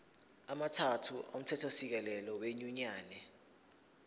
amathathu omthethosisekelo wenyunyane